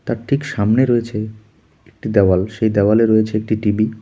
তার ঠিক সামনে রয়েছে একটি দেওয়াল সেই দেওয়ালে রয়েছে একটি টি_ভি ।